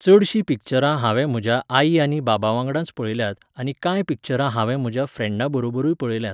चडशीं पिक्चरां हांवें म्हज्या आई आनी बाबा वांगडाच पळयल्यांत आनी कांय पिक्चरां हांवें म्हज्या फ्रँडा बरोबरूय पळयल्यांत.